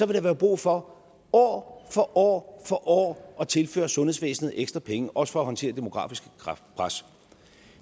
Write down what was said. vil være brug for år for år for år at tilføre sundhedsvæsenet ekstra penge også for at håndtere det demografiske pres